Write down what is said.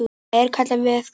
Það er kallað veðkall.